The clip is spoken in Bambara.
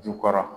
Jukɔrɔ